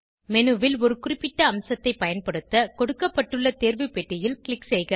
menu ல் ஒரு குறிப்பிட்ட அம்சத்தை பயன்படுத்த கொடுக்கப்பட்டுள்ள தேர்வு பெட்டியில் க்ளிக் செய்க